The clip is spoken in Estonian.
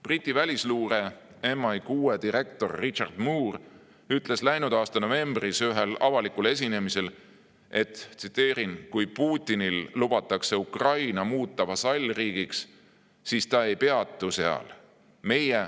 Briti välisluure MI6 direktor Richard Moore ütles läinud aasta novembris ühel avalikul esinemisel nii: "Kui Putinil lubatakse Ukraina muuta vasallriigiks, siis ta ei peatu seal.